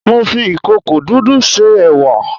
Mo fi ìkòkò dúdú se ẹ̀wà